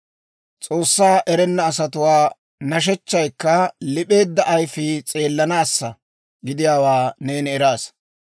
S'oossaa erenna asatuwaa nashechchaykka lip'eedda ayifii s'eellanaassa gidiyaawaa neeni eraasa;